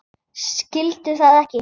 Skildi það ekki.